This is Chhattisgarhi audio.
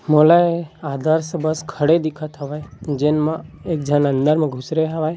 मोलै आदर्श बस खड़े दिखत हावय जेन मा एक झन अंदर मा घुसरे हावय।